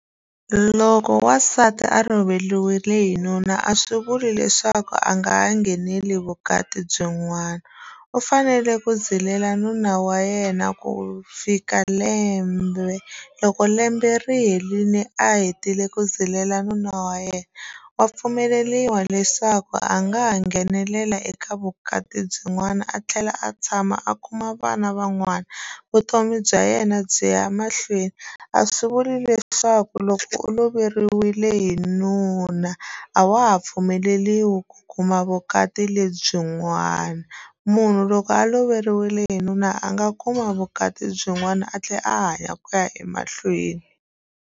Loko wasati a loveriwile hi nuna a swi vuli leswaku a nga ha ngheneli vukati byin'wana u fanele ku zilela nuna wa yena ku fika lembe loko lembe ri herile a hetile ku zilela nuna wa yena wa pfumeleriwa leswaku a nga ha nghenelela eka vukati byin'wana a tlhela a tshama a kuma vana van'wana vutomi bya yena byi ya mahlweni a swi vuli leswaku loko u loveriwile hi nuna a wa ha pfumeleriwi ku kuma vukati lebyin'wana munhu loko a loveriwile hi nuna a nga kuma vukati byin'wana a tlhela a hanya ku ya emahlweni.